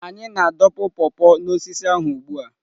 Anyị na-adọpụ paw paw n'osisi ahụ ugbu a.